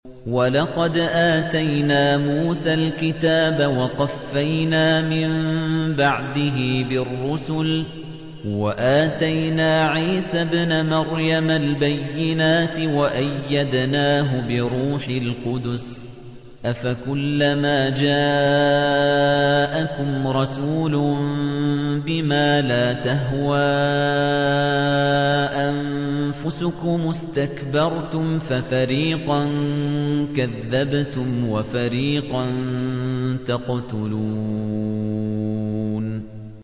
وَلَقَدْ آتَيْنَا مُوسَى الْكِتَابَ وَقَفَّيْنَا مِن بَعْدِهِ بِالرُّسُلِ ۖ وَآتَيْنَا عِيسَى ابْنَ مَرْيَمَ الْبَيِّنَاتِ وَأَيَّدْنَاهُ بِرُوحِ الْقُدُسِ ۗ أَفَكُلَّمَا جَاءَكُمْ رَسُولٌ بِمَا لَا تَهْوَىٰ أَنفُسُكُمُ اسْتَكْبَرْتُمْ فَفَرِيقًا كَذَّبْتُمْ وَفَرِيقًا تَقْتُلُونَ